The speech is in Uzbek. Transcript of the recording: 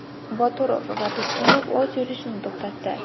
Boturov va Tursunov o‘z yurishini to‘xtatdi.